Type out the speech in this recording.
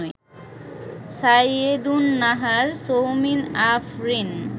Saiyedun Nahar, Soumin Afrin